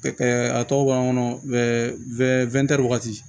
a tɔ b'an kɔnɔ wagati